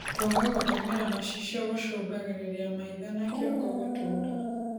Kwaga gũtũmĩra macicio gũcũngagĩrĩrĩa maĩ tho na kĩongo gũtuura